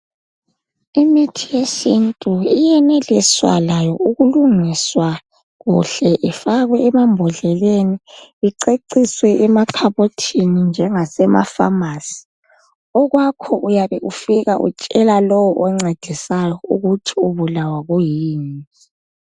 Imithi yesintu iyenelisa layo ukulungiswa kuhle ifakwe emambodleleni kuceciswe emakhabothini njengase mapharmacy. Okwakho uyabe ufika utshela lowo oncedisayo ukuthi ubulawa kuyini.